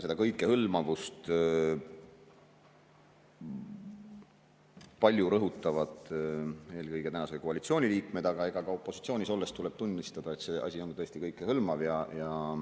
Seda kõikehõlmavust rõhutavad palju eelkõige tänase koalitsiooni liikmed, aga ka opositsioonis olles tuleb tunnistada, et see asi on tõesti kõikehõlmav.